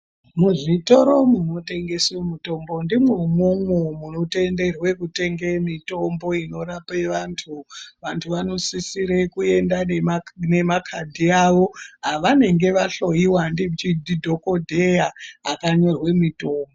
Muzvitoro munotengeswe mutombo ndimwo umwomwo mutenderwe kutenge mutombo inorape vantu vantu vanosisire kuenda nema nemakadi awo avanenge vahloyiwa ndichi ndidhokodheya akanyorwe mutombo.